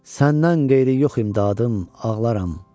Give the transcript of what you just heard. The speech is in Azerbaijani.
Səndən qeyri yox imdadım, ağlaram.